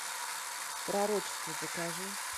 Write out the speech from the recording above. пророчество покажи